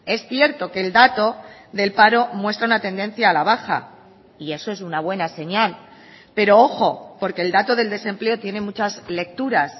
es cierto que el dato del paro muestra una tendencia a la baja y eso es una buena señal pero ojo porque el dato del desempleo tiene muchas lecturas